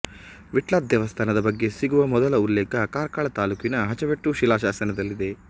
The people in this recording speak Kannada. ವಿಟ್ಲ ದೇವಸ್ಥಾನದ ಬಗ್ಗೆ ಸಿಗುವ ಮೊದಲ ಉಲ್ಲೇಖ ಕಾರ್ಕಳ ತಾಲೂಕಿನ ಹಚವೆಟ್ಟು ಶಿಲಾಶಾಸನದಲ್ಲಿದೆ